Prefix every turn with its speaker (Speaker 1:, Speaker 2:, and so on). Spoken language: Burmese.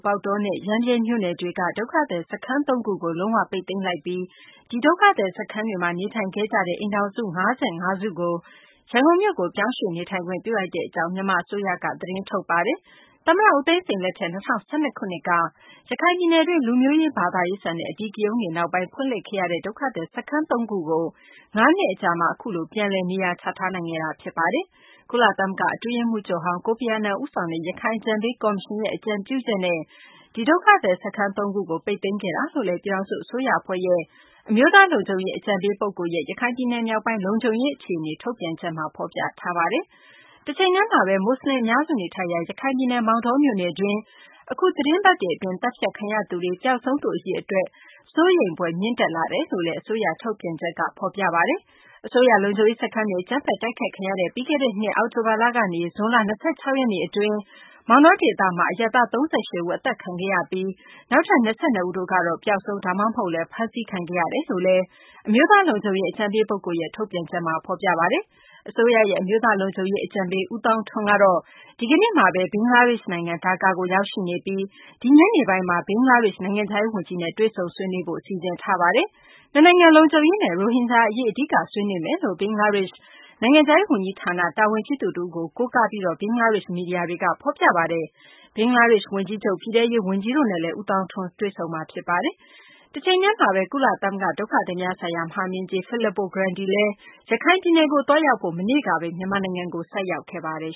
Speaker 1: ပေါက်တောနဲ့ ရမ်းဗြဲ မြို့နယ်တွေက ဒုက္ခသည် စခန်း ၃ ခုကို လုံး၀ ပိတ်သိမ်းလိုက်ပြီး ဒီဒုက္ခသည်စခန်းတွေမှာ နေထိုင်ခဲ့ကြတဲ့ အိမ်ထောင်စု ၅၅ စုကို ရန်ကုန်မြို့ကို ပြောင်းရွှေ့နေထိုင်ခွင့် ပြုလိုက်ကြောင်း မြန်မာ အစိုးရက သတင်းထုတ်ပါတယ်။ သမ္မတ ဦးသိန်းစိန် လက်ထက် ၂၀၁၂ ခုနှစ်က ရခိုင်ပြည်နယ်တွင်း လူမျိုးရေး ဘာသာရေးဆန်တဲ့ အဓိကရုဏ်းတွေ နောက်ပိုင်း ဖွင့်လှစ်ခဲ့ရတဲ့ ဒုက္ခသည် စခန်း ၃ ခုကို၅ နှစ်အကြာမှာ အခုလို ပြန်လည် နေရာချထားနိုင်ခဲ့တာ ဖြစ်ပါတယ်။ ကုလသမဂ္ဂ အတွင်းရေးမှူးချုပ်ဟောင်း ကိုဖီအာနန် ဦးဆောင်တဲ့ ရခိုင် အကြံပေး ကော်မရှင်ရဲ့ အကြံပြုချက်နဲ့ ဒီ ဒုက္ခသည် စခန်း သုံးခုကို လုံး၀ ပိတ်သိမ်းခဲ့တာ လို့လည်း ပြည်ထောင်စု အစိုးရ အဖွဲ့ရဲ့ အမျိုးသား လုံခြုံရေး အကြံပေး ပုဂ္ဂိုလ်ရဲ့ ရခိုင်ပြည်နယ် မြောက်ပိုင်း လုံခြုံရေး အခြေအနေ ထုတ်ပြန်ချက်မှာတော့ ဖော်ပြထားပါတယ်။ တချိန်တည်းမှာဘဲ မွတ်စလင် အများစု နေထိုင်ရာ ရခိုင်ပြည်နယ် မောင်တောမြို့နယ်တွင်း အခု သတင်းပတ်တွေ အတွင်း သတ်ဖြတ်ခံရသူတွေ၊ ပျောက်ဆုံး သူ အရေအတွက် စိုးရိမ်ဖွယ် မြင့်တက်လာတယ်လို့လည်း အစိုးရ ထုတ်ပြန်ချက်က ဖော်ပြပါတယ်။ အစိုးရ လုံခြုံရေး စခန်းတွေ အကြမ်းဖက် တိုက်ခိုက်ခံခဲ့ရတဲ့ ပြီးခဲ့တဲ့နှစ် အောက်တိုဘာလ ကနေ ဇွန်လ ၂၆ ရက်နေ့ အတွင်း မောင်တော ဒေသတွင်း အရပ်သား ၃၈ ဦး အသတ်ခံခဲ့ရပြီး နောက်ထပ် ၂၂ ဦးတို့ကတော့ ပျောက်ဆုံး ဒါမှမဟုတ်လည်း ဖမ်းဆီးခံခဲ့ရတယ်လို့လည်း အမျိုးသားလုံခြုံရေး အကြံပေး ပုဂ္ဂိုလ်ရဲ့ ထုတ်ပြန်ချက်မှာ ဖော်ပြထားပါတယ်။ အစိုးရရဲ့ အမျိုးသား လုံခြုံရေး အကြံပေး ဦးသောင်းထွန်းကတော့ ဒီကနေ့မှာဘဲ ဘင်္ဂလားဒေရှ့်နိုင်ငံ ဒါကာကို ရောက်ရှိနေပြီး ဒီညနေပိုင်းမှာ ဘင်္ဂလားဒေရှ့် နိုင်ငံခြားရေး ဝန်ကြီးနဲ့ တွေ့ဆုံ ဆွေးနွေးဖို့ စီစဉ်ထားပါတယ်။ နှစ်နိုင်ငံ လုံခြုံရေးနဲ့ ရိုဟင်ဂျာ အရေး အဓိက ဆွေးနွေးမယ်လို့ ဘင်္ဂလားဒေရှ့် နိုင်ငံခြားရေး ဝန်ကြီးဌာန တာဝန်ရှိသူ တဦးကို ကိုးကားပြီး ဘင်္ဂလားဒေရှ့် မီဒီယာတွေက ဖော်ပြကြပါတယ်။ ဘင်္ဂလားဒေရှ့် ဝန်ကြီးချုပ်၊ ပြည်ထဲရေး ဝန်ကြီးတို့နဲ့လည်း ဦးသောင်းထွန်း တွေ့ဆုံမှာ ဖြစ်ပါတယ်။ တချိန်တည်းမှာဘဲ ကုလသမဂ္ဂ ဒုက္ခသည်များဆိုင်ရာ မဟာမင်းကြီး Fillippo Grandi လည်း ရခိုင်ပြည်နယ်ကို သွားရောက်ဖို့ မနေ့က မြန်မာနိုင်ငံကို ဆိုက်ရောက်ခဲ့ပါတယ်